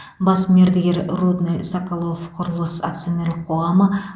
бас мердігер рудныйсоколовқұрылыс акционерлік қоғамы